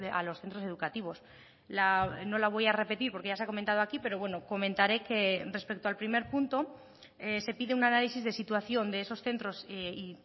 a los centros educativos no la voy a repetir porque ya se ha comentado aquí pero bueno comentaré que respecto al primer punto se pide un análisis de situación de esos centros y